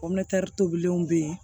tobiliw bɛ yen